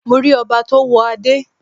Mo rí ọba tó wọ Adẹ́